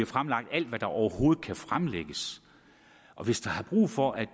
fremlagt alt hvad der overhovedet kan fremlægges og hvis der er brug for at